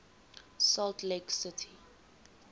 salt lake city